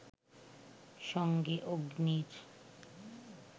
সঙ্গে অগ্নির